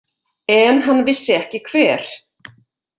En hann vissi ekki hver.